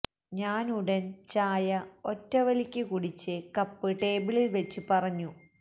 ഞാനുടൻ ചായ ഒറ്റ വലിക്ക് കുടിച്ച് കപ്പ് ടേബിളിൽ വച്ച് പറഞ്ഞു